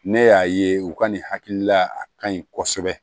Ne y'a ye u ka nin hakilila a kaɲi kosɛbɛ